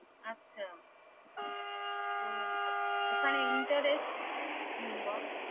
আচ্ছা তো ওখানে interest হম বল